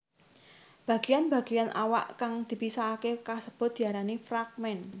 Bagéyan bagéyan awak kang dipisahaké kasebut diarani fragmen